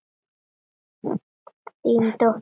Þín dóttir Sonja.